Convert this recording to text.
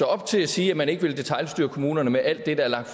op til at sige at man ikke vil detailstyre kommunerne med alt det der er lagt